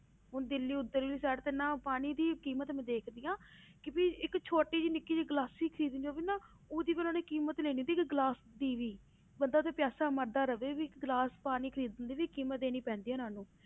ਹੁਣ ਦਿੱਲੀ ਉੱਧਰਲੀ side ਤੇ ਨਾ ਪਾਣੀ ਦੀ ਕੀਮਤ ਮੈਂ ਦੇਖਦੀ ਹਾਂ ਕਿ ਵੀ ਇੱਕ ਛੋਟੀ ਜਿਹੀ ਨਿੱਕੀ ਜਿਹੀ ਗਲਾਸੀ ਖ਼ਰੀਦ ਲਈਏ ਉਹ ਵੀ ਨਾ ਉਹਦੀ ਵੀ ਉਹਨਾਂ ਨੇ ਕੀਮਤ ਲੈਣੀ, ਦੇਖ ਗਲਾਸ ਦੀ ਵੀ, ਬੰਦਾ ਉੱਥੇ ਪਿਆਸਾ ਮਰਦਾ ਰਹੇ ਵੀ ਗਲਾਸ ਪਾਣੀ ਖ਼ਰੀਦਣ ਦੀ ਵੀ ਕੀਮਤ ਦੇਣੀ ਪੈਂਦੀ ਹੈ ਉਹਨਾਂ ਨੂੰ,